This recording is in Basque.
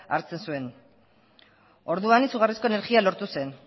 hartzen zuen orduan izugarrizko energia lortu zen